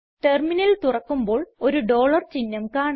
terminal തുറക്കുമ്പോൾ ഒരു dollar ചിഹ്നം കാണാം